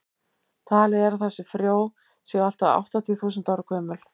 talið er að þessi frjó séu allt að áttatíu þúsund ára gömul